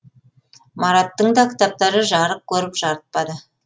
мараттың да кітаптары жарық көріп жарытпады